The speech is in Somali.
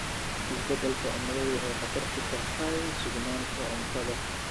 Isbeddelka cimiladu waxay khatar ku tahay sugnaanta cuntada.